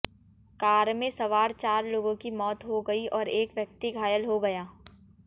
car में सवार चार लोगों की मौत हो गई और एक व्यक्ति घायल हो गया